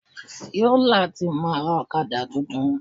Fiola ti máa rà Ọ̀kadà tuntun.